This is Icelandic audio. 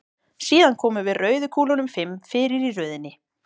Síðan komum við rauðu kúlunum fimm fyrir í röðinni.